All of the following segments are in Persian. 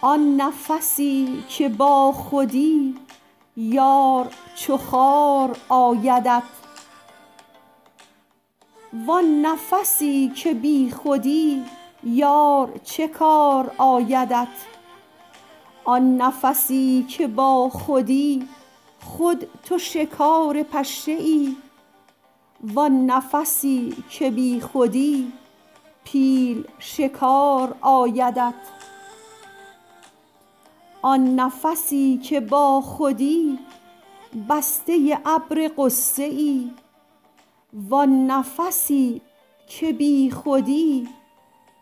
آن نفسی که باخودی یار چو خار آیدت وان نفسی که بیخودی یار چه کار آیدت آن نفسی که باخودی خود تو شکار پشه ای وان نفسی که بیخودی پیل شکار آیدت آن نفسی که باخودی بسته ابر غصه ای وان نفسی که بیخودی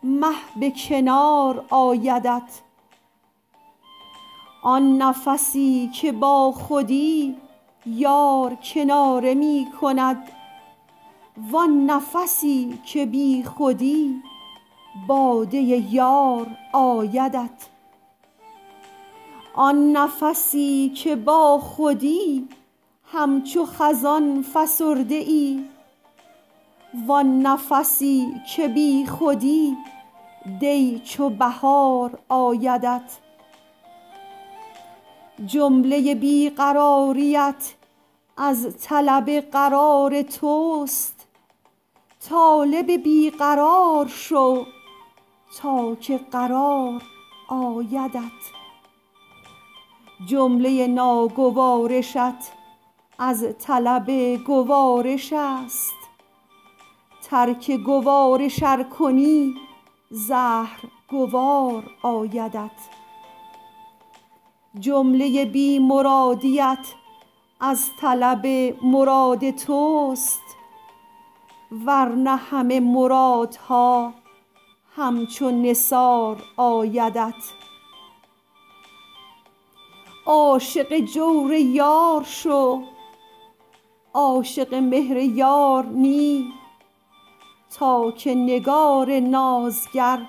مه به کنار آیدت آن نفسی که باخودی یار کناره می کند وان نفسی که بیخودی باده یار آیدت آن نفسی که باخودی همچو خزان فسرده ای وان نفسی که بیخودی دی چو بهار آیدت جمله بی قراریت از طلب قرار توست طالب بی قرار شو تا که قرار آیدت جمله ناگوارشت از طلب گوارش است ترک گوارش ار کنی زهر گوار آیدت جمله بی مرادیت از طلب مراد توست ور نه همه مرادها همچو نثار آیدت عاشق جور یار شو عاشق مهر یار نی تا که نگار نازگر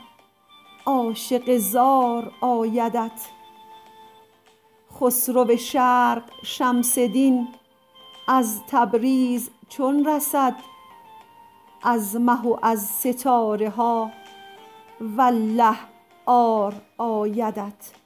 عاشق زار آیدت خسرو شرق شمس دین از تبریز چون رسد از مه و از ستاره ها والله عار آیدت